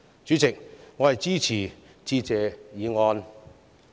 主席，我支持致謝議案。